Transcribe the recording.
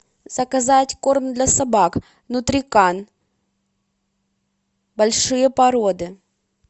заказать корм для собак нутрикан большие породы